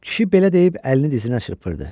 Kişi belə deyib əlini dizinə çırpırdı.